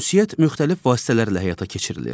Ünsiyyət müxtəlif vasitələrlə həyata keçirilir.